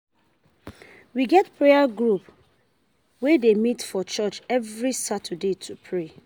We get prayer group wey dey meet for church every Saturday to pray.